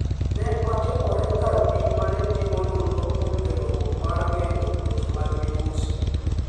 ne otimore e kar pim ma ne timo nonro kuom geng'ruok mar geng'o tuoche mag midhusi